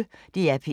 DR P1